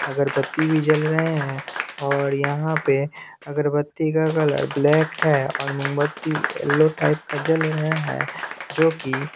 अगरबत्ती भी जल रहे हैं और यहां पे अगरबत्ती का कलर ब्लैक है और मोमबत्ती येलो टाइप का जल रहा है जो की--